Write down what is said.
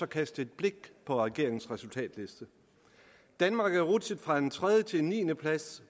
kaste et blik på regeringens resultatliste danmark er rutsjet fra en tredje til en niendeplads